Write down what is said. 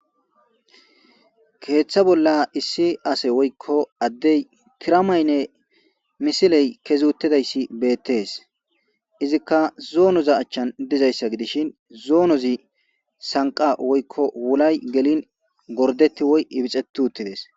Keeththa bolla issi ase woykko addey tiramaynne misiley kezuttidayssi beettees izikka zoonoza achchan dizayssa gidishin zoonozi sanqa woykko wulay gelin gordetti woy ibixetu uttides.